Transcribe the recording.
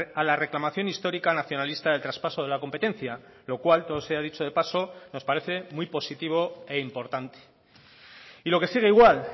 a la reclamación histórica nacionalista del traspaso de la competencia lo cual todo sea dicho de paso nos parece muy positivo e importante y lo que sigue igual